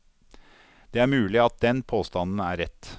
Det er mulig at den påstanden er rett.